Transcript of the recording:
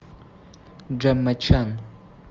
джемма чан